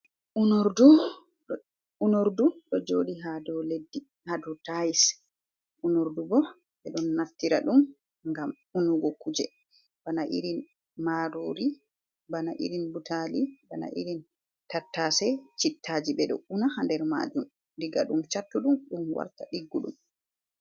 Unordu ɗo joɗi ha dou leddi ha dou tais. Unordu bo ɓe ɗo naftira ɗum ngam unugo kuje bana irin marori, bana irin butali bana irin tattase, chittaji, ɓe ɗo una ha nder majum diga ɗum chattu ɗum, ɗum warta ɗiggudum.